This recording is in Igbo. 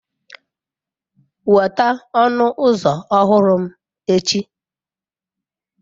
Weta ọnụ ụzọ ọhụrụ m echi.